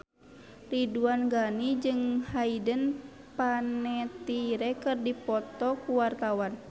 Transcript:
Ridwan Ghani jeung Hayden Panettiere keur dipoto ku wartawan